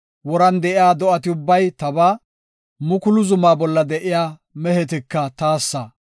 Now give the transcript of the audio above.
Woran de7iya do7ati ubbay tabaa; mukulu zumaa bolla de7iya mehetika taassa.